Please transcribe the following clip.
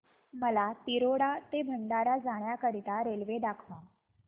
मला तिरोडा ते भंडारा जाण्या करीता रेल्वे दाखवा